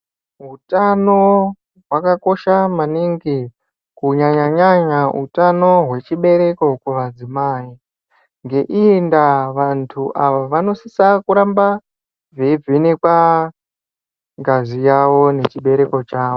Utano hwakakosha maningi kunyanya nyanya hutano hwechibereko kuvadzimai. Ngeiyi ndava vantu ava vanosisa kuramba veivhenekwa ngazi yavo nechibereko chavo.